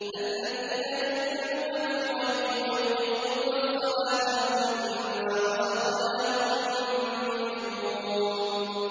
الَّذِينَ يُؤْمِنُونَ بِالْغَيْبِ وَيُقِيمُونَ الصَّلَاةَ وَمِمَّا رَزَقْنَاهُمْ يُنفِقُونَ